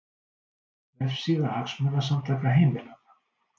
Vefsíða Hagsmunasamtaka heimilanna